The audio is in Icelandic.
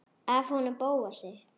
Af honum Bóasi?